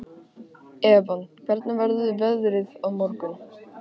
Evan, hvernig verður veðrið á morgun?